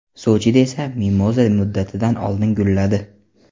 Sochida esa mimoza muddatidan oldin gulladi.